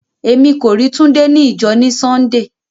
Ẹmi kò rí Túndé ní ìjọ̀ ní Súndéé.